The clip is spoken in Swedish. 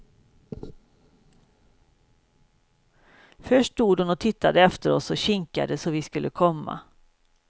Först stod hon och tittade efter oss och kinkade, så vi skulle komma.